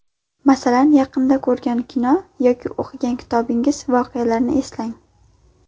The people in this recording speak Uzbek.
Masalan, yaqinda ko‘rgan kino yoki o‘qigan kitobingiz voqealarini eslang.